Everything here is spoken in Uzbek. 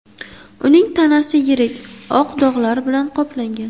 Uning tanasi yirik oq dog‘lar bilan qoplangan.